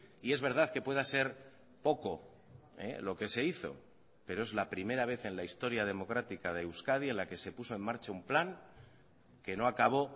y es verdad que pueda ser poco lo que se hizo pero es la primera vez en la historia democrática de euskadi en la que se puso en marcha un plan que no acabó